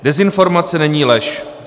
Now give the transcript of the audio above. Dezinformace není lež.